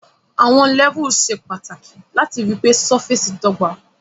Àwon levels se pàtàkì láti ripé surface dọ́gba